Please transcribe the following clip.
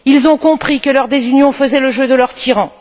Ils ont compris que leur désunion faisait le jeu de leur tyran.